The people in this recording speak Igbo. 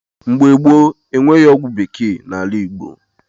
Mgbe gboo, enweghị ọgwụ bekee n’ala Igbo.